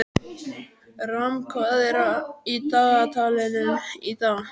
Ram, hvað er í dagatalinu í dag?